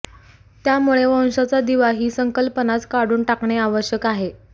त्यामुळे वंशाचा दिवा ही संकल्पनाच काढून टाकणे आवश्यक आहे